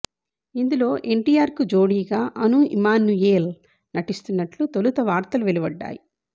ఇందులో ఎన్టీఆర్కు జోడీగా అను ఇమ్మానుయేల్ నటిస్తున్నట్లు తొలుత వార్తలు వెలువడ్డాయి